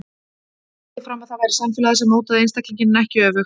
Hann hélt því fram að það væri samfélagið sem mótaði einstaklinginn en ekki öfugt.